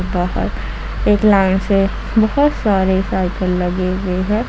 यहां पर एक लाइन से बहुत सारे साइकल लगे हुए हैं।